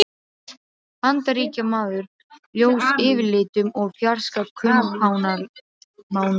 Bandaríkjamaður, ljós yfirlitum og fjarska kumpánlegur.